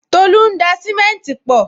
Tolu ń da simenti pọ